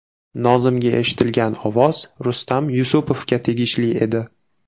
Nozimga eshitilgan ovoz Rustam Yusupovga tegishli edi.